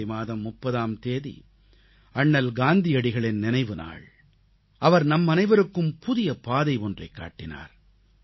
ஜனவரி மாதம் 30ஆம் தேதி அண்ணல் காந்தியடிகளின் நினைவு நாள் அவர் நம் அனைவருக்கும் புதிய பாதை ஒன்றைக் காட்டினார்